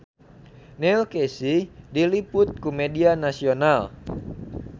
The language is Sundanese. Neil Casey diliput ku media nasional